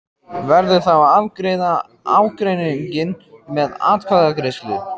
Verður þá að afgreiða ágreininginn með atkvæðagreiðslu.